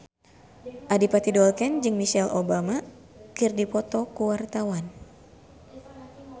Adipati Dolken jeung Michelle Obama keur dipoto ku wartawan